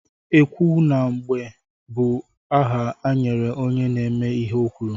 Ekwu na mgbe bụ aha e nyere onye na-eme ihe o kwuru.